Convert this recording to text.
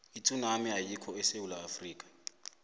itsunami ayikho esewula afrika